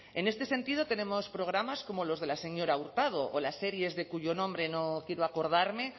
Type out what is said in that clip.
en este sentido tenemos programas como los de la señora hurtado o las series de cuyo nombre no quiero acordarme